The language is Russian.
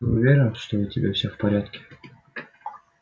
ты уверен что у тебя всё в порядке